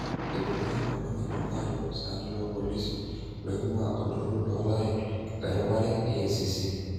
Eibungaki engolong ejumaa ilopisaani lopolisi loingua olturur loorare eropare EACC.